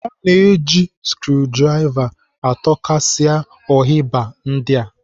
O na-eji skrudrava atọkasia ohiba ndị a.